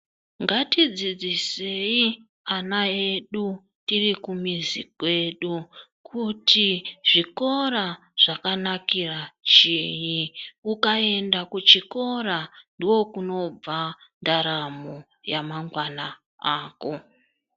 Ngatidzidzisei ana edu tiri kumuzi kwedu kutu zvikora zvakanakira chii ukaenda kuchikora ndiko kunobva ndaramo yamangwana ako.